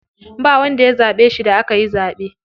Ba wanda ya zaɓe shi da akayi zaɓe.